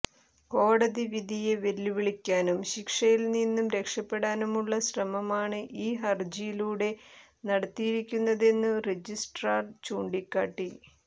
കോടതി വിധിയെ വെല്ലുവിളിക്കാനും ശിക്ഷയിൽനിന്നു രക്ഷപ്പെടാനുമുള്ള ശ്രമമാണ് ഈ ഹർജിയിലൂടെ നടത്തിയിരിക്കുന്നതെന്നു റജിസ്ട്രാർ ചൂണ്ടിക്കാട്ടി